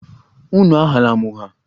Unu aghala m ụgha!